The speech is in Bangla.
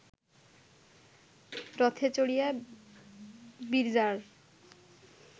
রথে চড়িয়া বিরজার